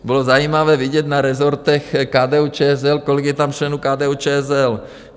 Bylo zajímavé vidět na resortech KDU-ČSL, kolik je tam členů KDU-ČSL.